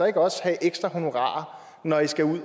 ikke også have ekstra honorarer når i skal ud